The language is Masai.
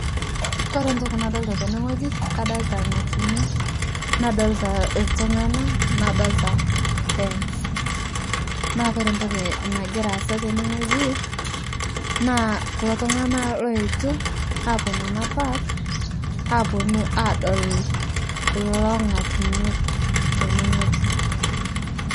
Kore ntoki nadolita teneng'oji kadolta lng'atunyo, naadolita ltung'anaa naadolita [cs fence cs] naa kore ntoki nangiraa asa tenengoji naakore ntoki naagira asa tenegoji, naa kulo tunganaa looetuo aponu ana [cs park cs] aponu adol kulo ngutunyo tenengoji.